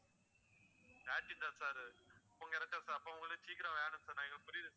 அப்போ உங்களுக்கு சீக்கிரம் வேணும் sir நான் புரியுது